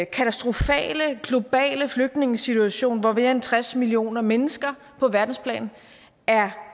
katastrofale globale flygtningesituation hvor mere end tres million mennesker på verdensplan er